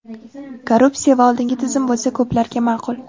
Korrupsiya va oldingi tizim bo‘lsa, ko‘plarga ma’qul.